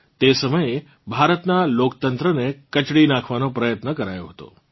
તે સમયે ભારતનાં લોકતંત્રને કચડી નાખવાનો પ્રયત્ન કરાયો હતો